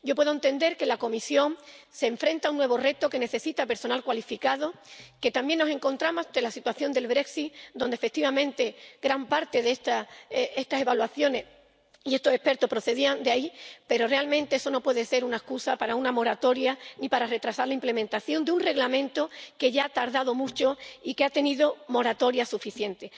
Yo puedo entender que la Comisión se enfrenta a un nuevo reto que necesita personal cualificado, que también nos encontramos ante la situación del Brexit y que, efectivamente, gran parte de estas evaluaciones y de estos expertos procedían del Reino Unido, pero, realmente, eso no puede ser una excusa para una moratoria ni para retrasar la implementación de un Reglamento que ya ha tardado mucho y que ha tenido moratoria suficiente.